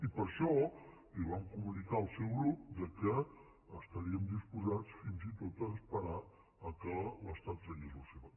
i per això vam comunicar al seu grup que estaríem disposats fins i tot a esperar que l’estat tragués la seva